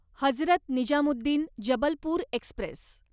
Hazrat Nizamuddin Jabalpur Express